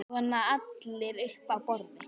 Svona allir upp á borð